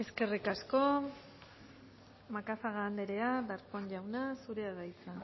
eskerrik asko macazaga andrea darpón jauna zurea da hitza